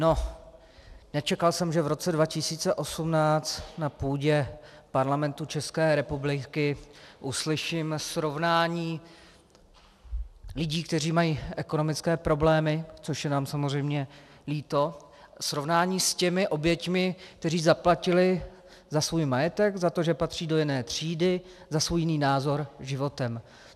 No, nečekal jsem, že v roce 2018 na půdě Parlamentu České republiky uslyším srovnání lidí, kteří mají ekonomické problémy, což je nám samozřejmě líto, srovnání s těmi oběťmi, které zaplatily za svůj majetek, za to, že patří do jiné třídy, za svůj jiný názor životem.